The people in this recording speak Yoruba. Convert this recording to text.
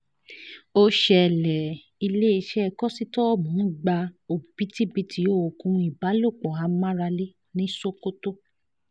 ó ṣẹlẹ̀ iléeṣẹ́ kósítọ́ọ̀mù gba òbítíbitì oògùn ìbálòpọ̀ amáralé ní sokoto